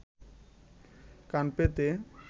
কান পেতে